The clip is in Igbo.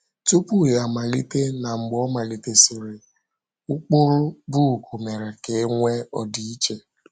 Tupu Ya Amalite na Mgbe Ọ Malitesịrị — Ụkpụrụ book Mere Ka E Nwee Ọdịiche